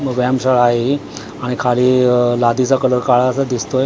म व्यायामशाळा आहे ही आणि खाली लादीचा कलर काळा असा दिसतोय.